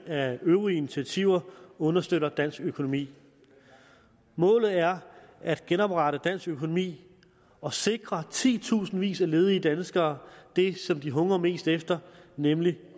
af øvrige initiativer understøtter dansk økonomi målet er at genoprette dansk økonomi og sikre titusindvis af ledige danskere det som de hungrer mest efter nemlig